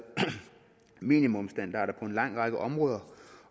minimumsstandarder på en lang række områder